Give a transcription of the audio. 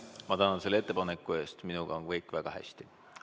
Ma tänan selle ettepaneku eest, aga minuga on kõik väga hästi.